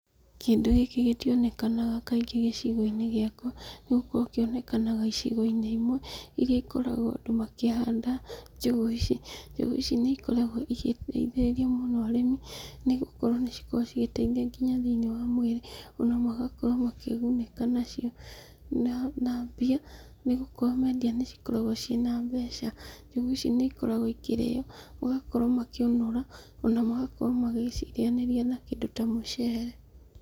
Kĩndũ gĩkĩ gĩtionekanaga kaingĩ gĩcigo-inĩ giakwa, ni gũkorwo kĩonekanaga icigo-inĩ imwe iria ikoragwo andũ makĩhanda njũgũ ici. Njũgũ ici nĩikoragwo igĩteithĩrĩria mũno arĩmi, ni gũkorwo nĩ cikoragwo cigĩteithia nginya thĩ-inĩ wa mwĩrĩ, ona magakorwo makĩgunĩka nacio na mbia nĩgũkorwo mendia nĩcikoragwo ciĩ na mbeca. Njũgũ ici nĩikoragwo ikĩrĩĩo, magakorwo makĩũnũra, ona magakorwo magĩcirĩanĩria na kĩndũ ta mucere.